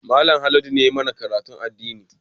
Mallam Haladu ne ya yi mana karatun addini